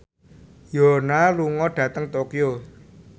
Yoona lunga dhateng Tokyo